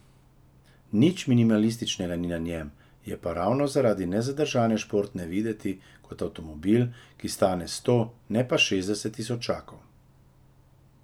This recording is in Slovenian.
Nič minimalističnega ni na njem, je pa ravno zaradi nezadržane športnosti videti kot avtomobil, ki stane sto, ne pa šestdeset tisočakov.